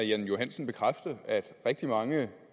jan johansen bekræfte at rigtig mange